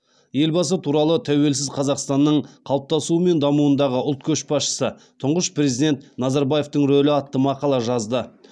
елбасы туралы тәуелсіз қазақстанның қалыптасуы мен дамуындағы ұлт көшбасшысы тұңғыш президент назарбаевтың рөлі атты мақала жазды